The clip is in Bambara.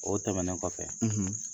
O tɛmɛnen kɔfɛ,